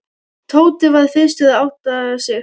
Tóti var fyrstur að átta sig.